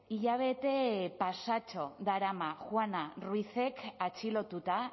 hilabete pasatxo darama juana ruizek atxilotuta